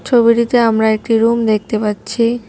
ছবিটিতে আমরা একটি রুম দেখতে পাচ্ছি।